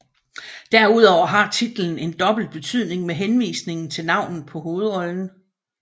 Derudover har titlen en dobbelt betydning med henvisningen til navnet på hovedrollen